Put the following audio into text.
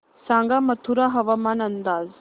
सांगा मथुरा हवामान अंदाज